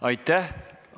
Aitäh!